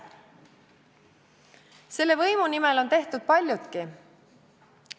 Selle võimu nimel on tehtud paljutki.